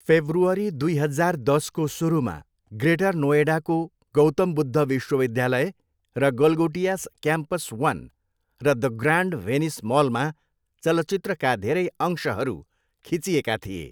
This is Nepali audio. फेब्रुअरी दुई हजार दसको सुरुमा, ग्रेटर नोएडाको गौतम बुद्ध विश्वविद्यालय र गलगोटियास क्याम्पस वन र द ग्रान्ड भेनिस मलमा चलचित्रका धेरै अंशहरू खिचिएका थिए।